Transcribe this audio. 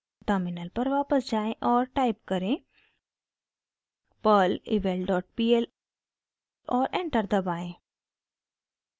terminal पर वापस जाएँ और टाइप करें: perl evalpl और एंटर दबाएं